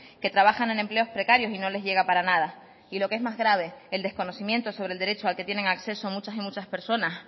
que trabajan en empleos precarios y no les llega para nada y lo que es más grave el desconocimiento sobre el derecho al que tienen acceso muchas y muchas personas